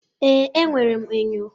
Ee, enwere m enyo.